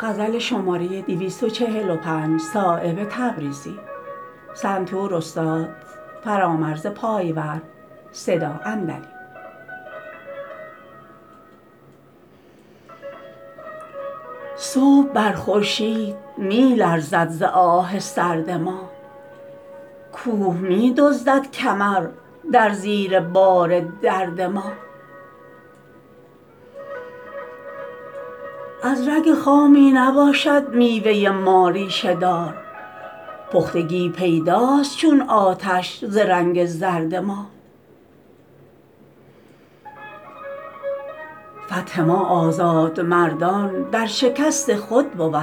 صبح بر خورشید می لرزد ز آه سرد ما کوه می دزدد کمر در زیر بار درد ما از رگ خامی نباشد میوه ما ریشه دار پختگی پیداست چون آتش ز رنگ زرد ما فتح ما آزاد مردان در شکست خود بود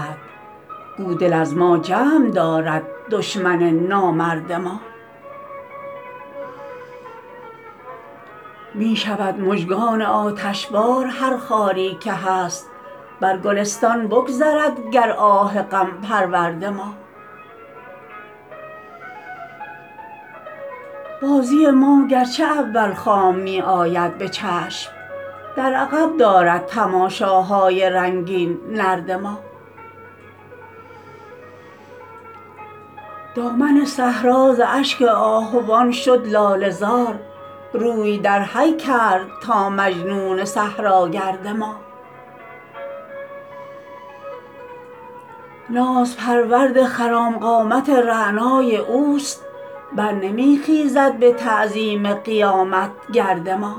گو دل از ما جمع دارد دشمن نامرد ما می شود مژگان آتشبار هر خاری که هست بر گلستان بگذرد گر آه غم پرورد ما بازی ما گرچه اول خام می آید به چشم در عقب دارد تماشاهای رنگین نرد ما دامن صحرا ز اشک آهوان شد لاله زار روی در حی کرد تا مجنون صحراگرد ما ناز پرورد خرام قامت رعنای اوست برنمی خیزد به تعظیم قیامت گرد ما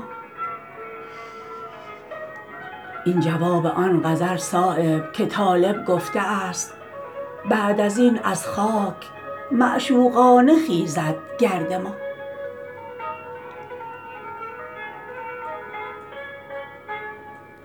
این جواب آن غزل صایب که طالب گفته است بعد ازین از خاک معشوقانه خیزد گرد ما